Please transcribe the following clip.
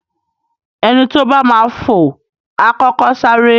Ẹni tó bá máa fò, A kọ́kọ́ sáré.